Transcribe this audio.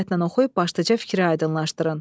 Diqqətlə oxuyub başqaca fikri aydınlaşdırın.